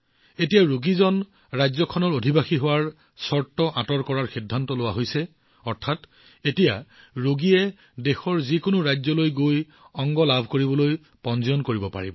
এই দিশত ৰাজ্যসমূহৰ অধিবাসীৰ বাধা আঁতৰ কৰাৰ সিদ্ধান্ত লোৱা হৈছে অৰ্থাৎ এতিয়া ৰোগীয়ে দেশৰ যিকোনো ৰাজ্যলৈ যাব পাৰিব আৰু অংগবোৰ প্ৰাপ্ত কৰাৰ বাবে পঞ্জীয়ন কৰিব পাৰিব